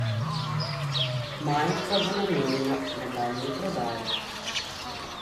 Majica bo namenjena nadaljnji prodaji.